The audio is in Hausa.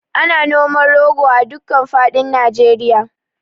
Ana noman rogo a duka faɗin Nijeriya